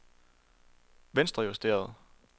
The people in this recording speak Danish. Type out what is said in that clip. venstrejusteret